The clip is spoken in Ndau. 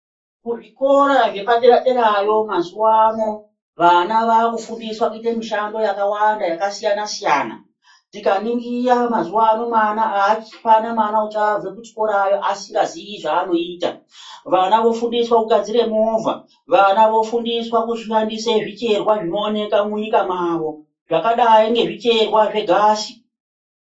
Kuzvikora zvepaderadera derayo mazuwano vana vakufundiswe kuite mushando yakawanda yakasiyana siyana tikaningira mazuwano mwana apana mwana uchabva kuchikora asingazi zvanoita vana vofundiswa kugadzire movha vana vofundiswa kushandise zvicherwa zvinoonekwai munyika mwavo zvakadai ngezvicherwa zvegasi.